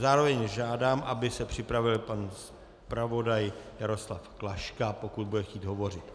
Zároveň žádám, aby se připravil pan zpravodaj Jaroslav Klaška, pokud bude chtít hovořit.